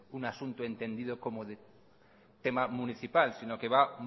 un asunto entendido como tema municipal sino que va